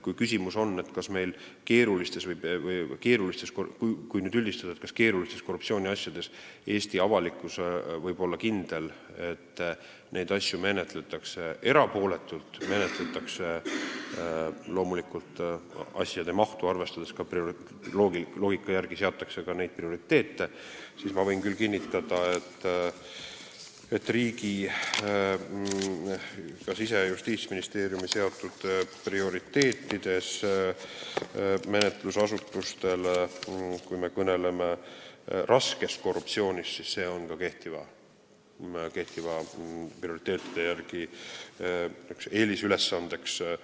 Kui küsimus on, kui nüüd üldistada, et kas Eesti avalikkus võib olla kindel, et keerulisi korruptsiooniasju menetletakse erapooletult, loomulikult asjade mahtu arvestades ja loogika järgi prioriteete seades, siis ma võin küll kinnitada, et kui kõnelda Siseministeeriumi ja Justiitsministeeriumi poolt menetlusasutustele seatud prioriteetidest, siis raske korruptsiooni uurimine on kehtivate prioriteetide järgi eelisülesanne, tuleb